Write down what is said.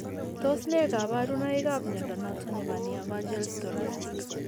Tos nee kabarunaik ab mnyondo noton nebo Nievergelt thoracic?